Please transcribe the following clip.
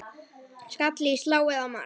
Skalli í slá eða mark?